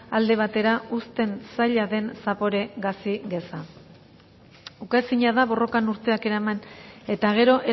alde batera uzten zaila den zapore gazi geza ukaezina da borrokan urteak eraman eta gero